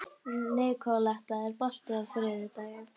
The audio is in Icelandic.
Nikoletta, er bolti á þriðjudaginn?